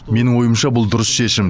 менің ойымша бұл дұрыс шешім